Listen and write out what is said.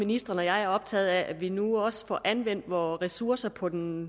ministeren og jeg optaget af at vi nu også får anvendt vore ressourcer på den